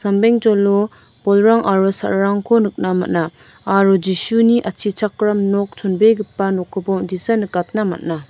sambengjolo bolrang aro sa·rarangko nikna man·a aro Jisuni atchichakram nok chonbegipa nokkoba on·tisa nikatna man·a.